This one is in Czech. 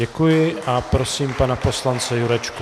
Děkuji a prosím pana poslance Jurečku.